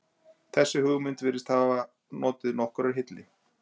Þessi hugmynd virðist hafa notið nokkurrar hylli.